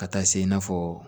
Ka taa se i n'a fɔ